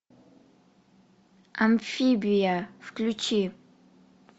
амфибия включи